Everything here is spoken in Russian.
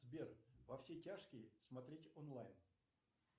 сбер во все тяжкие смотреть онлайн